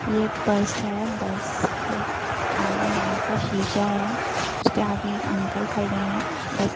ये एक बस है। बस पे आगे बड़ा सा शीशा है उसके आगे अंकल खड़े हैं। बस --